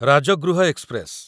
Rajgriha express